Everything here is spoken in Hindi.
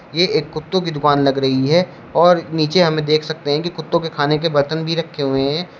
ये एक कुत्तों की दुकान लग रही है और नीचे हम देख सकते है कि कुत्तों के खाने के बर्तन भी रखे हुए हैं।